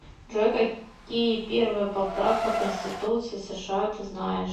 джой какие первая поправка к конституции сша ты знаешь